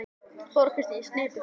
Þóra Kristín: Sneypuför?